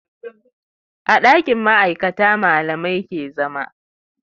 A ɗakin ma'aikata malamai ke zama